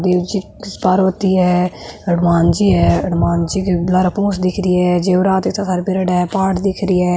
शिव पार्वती है हनुमान जी है हनुमान जी के लारे पूँछ दिख री है जेवरात इत्ता सारा पहरयोडा है पहाड़ दिख री है।